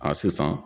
A sisan